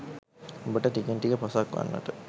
ඔබට ටිකෙන් ටික පසක් වෙන්නට